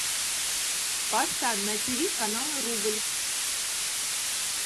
поставь на тв канал рубль